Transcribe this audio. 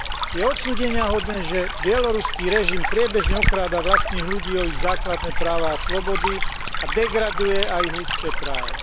Je odsúdeniahodné, že bieloruský režim priebežne okráda vlastných ľudí o ich základné práva a slobody a degraduje aj ich ľudské práva.